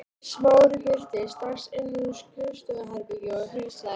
Smári birtist strax innan úr skrifstofuherbergi og heilsaði